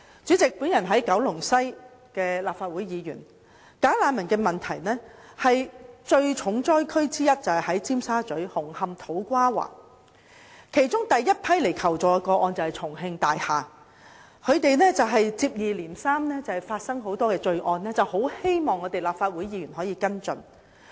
主席，我是九龍西的立法會議員，"假難民"問題的重災區，就是在尖沙咀、紅磡、土瓜灣；而第一批求助的個案，就是來自重慶大廈，該處接二連三發生很多罪案，有關居民希望立法會議員可以跟進。